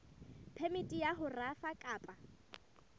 phemiti ya ho rafa kapa